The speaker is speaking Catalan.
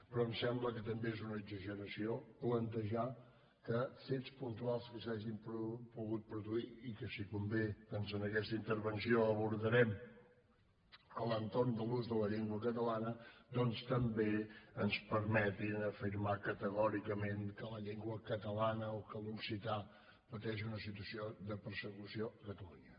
però em sembla que també és una exageració plantejar que fets puntuals que s’hagin pogut produir i que si convé doncs en aquesta intervenció els abordarem a l’entorn de l’ús de la llengua catalana doncs també ens permetin afirmar categòricament que la llengua catalana o que l’occità pateixen una situació de persecució a catalunya